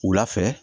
Wula fɛ